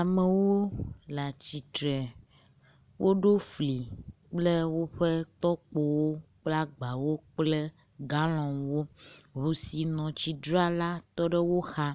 Amewo le atsi tre woɖo fli kple woƒe tɔkpowo kple agbawo kple galɔn wo. Ŋu si nɔ tsi dram la tɔ ɖe wo xa